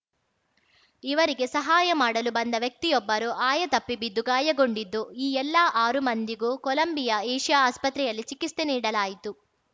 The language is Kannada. ಇವರಿಗೆ ಸಹಾಯ ಮಾಡಲು ಬಂದ ವ್ಯಕ್ತಿಯೊಬ್ಬರು ಆಯತಪ್ಪಿ ಬಿದ್ದು ಗಾಯಗೊಂಡಿದ್ದು ಈ ಎಲ್ಲ ಆರು ಮಂದಿಗೂ ಕೊಲಂಬಿಯಾ ಏಷಿಯಾ ಆಸ್ಪತ್ರೆಯಲ್ಲಿ ಚಿಕಿತ್ಸೆ ನೀಡಲಾಯಿತು